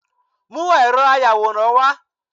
mú eró ayawóran wá